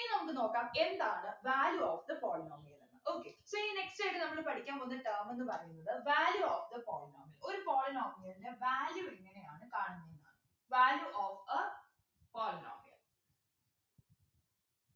ഇനി നമുക്ക് നോക്കാം എന്താണ് value of the polynomial എന്ന് okay so ഇനി next ആയിട്ട് നമ്മള് പഠിക്കാൻ പോകുന്ന term എന്ന് പറയുന്നത് value of the polynomial ഒരു polynomial ൻ്റെ value എങ്ങനെയാണ് കാണുന്നത് value of a polynomial